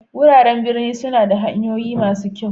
Wuraren birni suna da hanyoyin masu kyau.